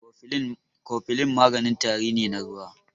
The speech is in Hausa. Kofilin maganin tari ne na ruwa.